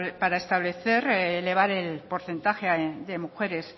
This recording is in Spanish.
para establecer elevar el porcentaje de mujeres